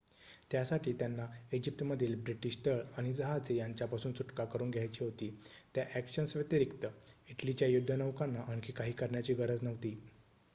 त्यासाठी त्यांना इजिप्तमधील ब्रिटीश तळ आणि जहाजे यांच्यापासून सुटका करून घ्यायची होती त्या ॲक्शन्स व्यतिरिक्त इटलीच्या युद्धनौकांना आणखी काही करण्याची गरज नव्हती